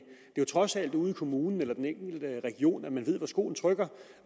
jo trods alt ude i kommunen eller i den enkelte region man ved hvor skoen trykker